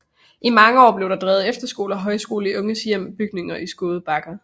I mange år blev der både drevet efterskole og højskole i Unge Hjems bygninger i Skåde Bakker